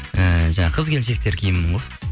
ііі жаңағы қыз келіншектер киімі ғой